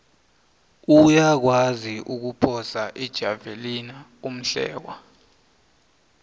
uyakwazi ukuphosa ijavelina umhlekwa